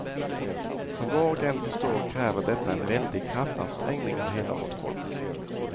Som var och en förstår kräver detta en väldig kraftansträngning av hela vårt folk.